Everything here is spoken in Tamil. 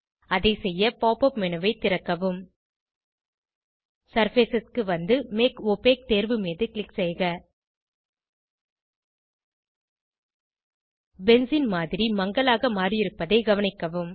அதை செய்ய pop உப் மேனு ஐ திறக்கவும் சர்ஃபேஸ் க்கு வந்து மேக் ஒபாக் தேர்வு மீது க்ளிக் செய்க பென்சீன் மாதிரி மங்கலாக மாறியிருப்பதை கவனிக்கவும்